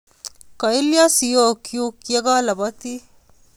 Kailio siokchu ye kalabatii